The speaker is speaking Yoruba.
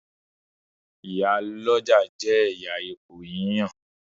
Ìyál'ọ́jà jẹ ẹyà ipò yíyan